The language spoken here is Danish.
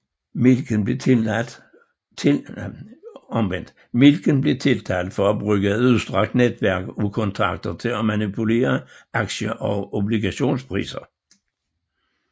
Milken blev tiltalt for at bruge et udstrakt netværk af kontakter til at manipulere aktie og obligationspriser